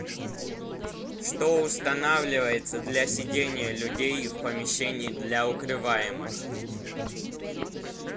что устанавливается для сидения людей в помещении для укрываемых